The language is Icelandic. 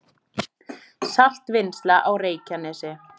Saltvinnsla á Reykjanesi